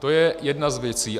To je jedna z věcí.